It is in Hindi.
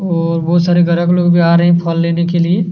और बहुत सारे ग्राहक लोग जो आ रहै हैं फल लेने के लिए --